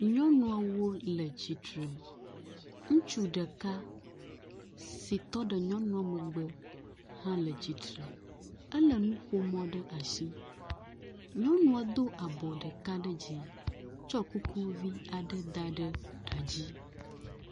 Nyɔnuwo le tsitre. Ŋutsu ɖeka si tɔ ɖe nyɔnua megbe hã le tsitre. Ele nuƒomɔ ɖe asi. Nyɔnua do abɔ ɖeka ɖe dzi tsɔ kuku vi aɖe da ɖe ta dzi.